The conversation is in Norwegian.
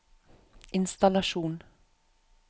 innstallasjon